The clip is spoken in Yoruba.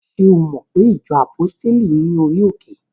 Ṣé o mo pe ìjọ àpọ́stéli ní orí òkè?